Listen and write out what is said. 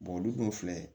olu dɔw filɛ